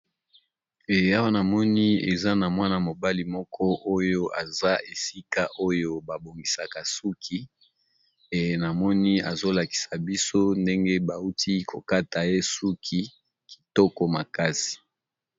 Eya awa na moni eza na mwana mobali moko oyo aza esika oyo babongisaka suki. Eyna moni azolakisa biso ndenge bauti kokata ye suki kitoko makasi.